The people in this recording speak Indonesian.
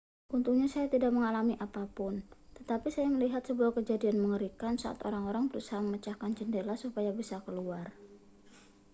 untungnya saya tidak mengalami apa pun tetapi saya melihat sebuah kejadian mengerikan saat orang-orang berusaha memecahkan jendela supaya bisa keluar